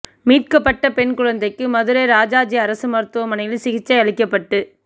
மீட்கப்பட்ட பெண் குழந்தைக்கு மதுரை ராஜாஜி அரசு மருத்துவமனையில் சிகிச்சை அளிக்கப்பட்டு